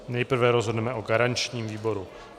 Nejprve rozhodneme o garančním výboru.